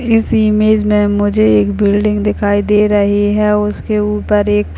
इस इमेज में मुझे एक बिल्डिंग दिखाई दे रही है उसके ऊपर एक --